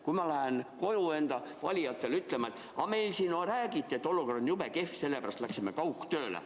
Kuidas ma muidu lähen valijatele ütlema, et meil seal räägiti, et olukord on jube kehv, sellepärast läksime kaugtööle.